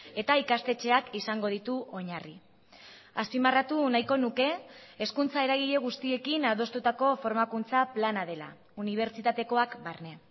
eta ikastetxeak izango ditu oinarri azpimarratu nahiko nuke hezkuntza eragile guztiekin adostutako formakuntza plana dela unibertsitatekoak barne